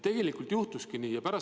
Tegelikult juhtuski nii!